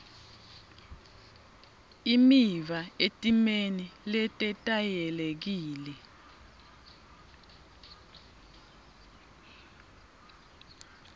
imiva etimeni letetayelekile